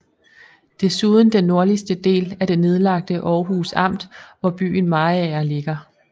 Desuden den nordligste del af det nedlagte Århus Amt hvor byen Mariager ligger